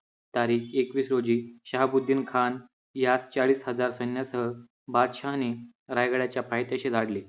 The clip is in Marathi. तारीख एकवीस रोजी शहाबुद्दीन खान यास चाळीस हजार सैन्यासह बादशाहाने रायगडाच्या पायथ्याशी धाडले.